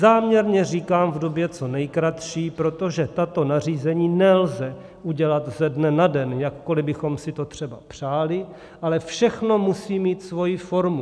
Záměrně říkám v době co nejkratší, protože tato nařízení nelze udělat ze dne na den, jakkoli bychom si to třeba přáli, ale všechno musí mít svoji formu.